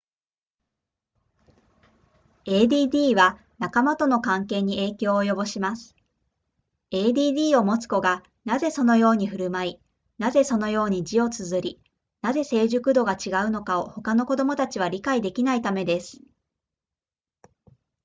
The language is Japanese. add は仲間との関係に影響を及ぼします add を持つ子がなぜそのように振る舞いなぜそのように字を綴りなぜ成熟度が違うのかを他の子供たちは理解できないためです